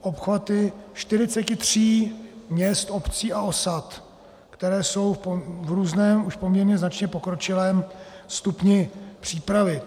obchvaty 43 měst, obcí a osad, které jsou v různém už poměrně značně pokročilém stupni přípravy.